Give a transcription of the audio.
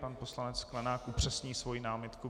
Pan poslanec Sklenák upřesní svoji námitku.